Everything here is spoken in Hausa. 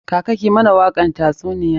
Kaka ki mana wakan tatsuniyar!